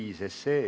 Kaunist talveõhtut!